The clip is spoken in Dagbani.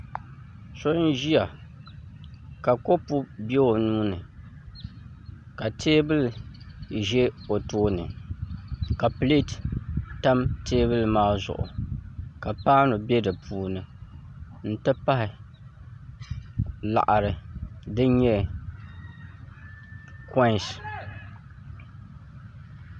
So n ʒiya ka kopu bɛ o nuuni ka teebuli ʒɛ o tooni ka pileet tam teebuli maa zuɣu ka paanu bɛ di puuni n ti pahi laɣari din nyɛ koins